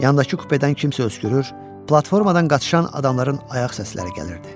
Yandakı kupedən kimsə öskürür, platformadan qaçışan adamların ayaq səsləri gəlirdi.